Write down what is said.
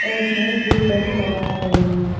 और इसमे blue paint लगाया गया है।